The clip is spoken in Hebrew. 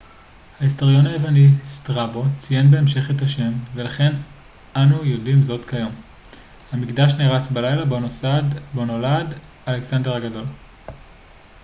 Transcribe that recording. ההיסטוריון היווני סטראבו strabo ציין בהמשך את השם ולכן אנו יודעים זאת כיום. המקדש נהרס בלילה בו נולד אלכסנדר הגדול